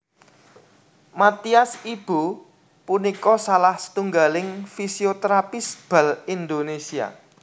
Mathias Ibo punika salah setunggaling fisioterapis bal Indonésia